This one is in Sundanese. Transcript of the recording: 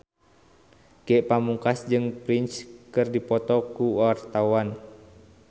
Ge Pamungkas jeung Prince keur dipoto ku wartawan